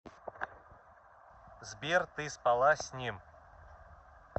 сбер ты спала с ним